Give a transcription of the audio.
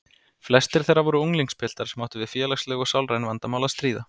Flestir þeirra voru unglingspiltar sem áttu við félagsleg og sálræn vandamál að stríða.